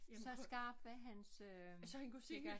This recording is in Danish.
Så skarp er hans øh kikkert